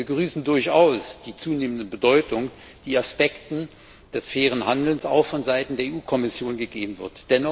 Wir begrüßen durchaus die zunehmende Bedeutung, die Aspekten des fairen Handels auch vonseiten der Europäischen Kommission gegeben wird.